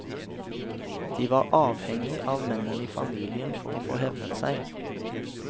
De var avhengig av mennene i familien for å få hevnet seg.